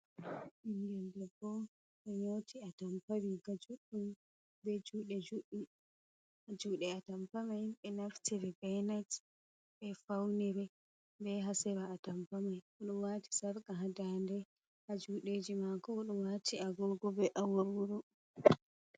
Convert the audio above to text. Ɓingel debbo oɗo nyoti atampa ɓe riga juɗɗum be jude juɗɗum atampa mai himɓe naftiri be net ɓe faunire be ha sera a tampa mai oɗo wati sarka ha dande ɓe ha juɗe eji mako oɗo wati agogo be awarwaro.